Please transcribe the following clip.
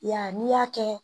I y'a n'i y'a kɛ